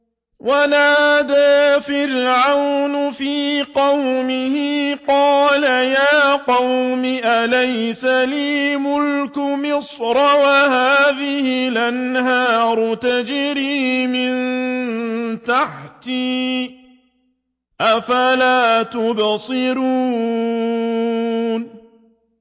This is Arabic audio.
وَنَادَىٰ فِرْعَوْنُ فِي قَوْمِهِ قَالَ يَا قَوْمِ أَلَيْسَ لِي مُلْكُ مِصْرَ وَهَٰذِهِ الْأَنْهَارُ تَجْرِي مِن تَحْتِي ۖ أَفَلَا تُبْصِرُونَ